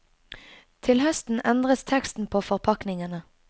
Til høsten endres teksten på forpakningene.